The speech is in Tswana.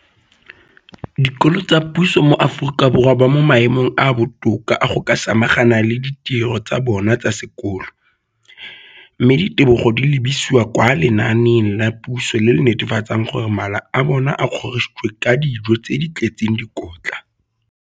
Dikolo tsa puso mo Aforika Borwa ba mo maemong a a botoka a go ka samagana le ditiro tsa bona tsa sekolo, mme ditebogo di lebisiwa kwa lenaaneng la puso le le netefatsang gore mala a bona a kgorisitswe ka dijo tse di tletseng dikotla.